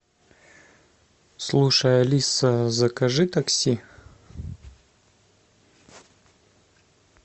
слушай алиса закажи такси